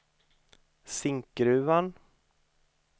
Zinkgruvan